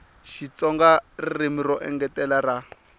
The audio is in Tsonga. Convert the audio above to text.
xitsonga ririmi ro engetela ra